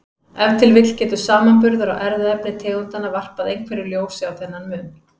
Ef til vill getur samanburður á erfðaefni tegundanna varpað einhverju ljósi á þennan mun.